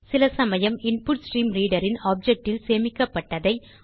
சில சமயம் இன்புட்ஸ்ட்ரீம்ரீடர் ன் ஆப்ஜெக்ட் ல் சேமிக்கப்பட்டதை